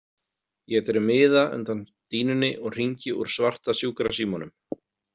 Ég dreg miða undan dýnunni og hringi úr svarta sjúkrasímanum.